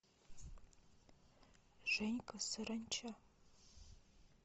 женька саранча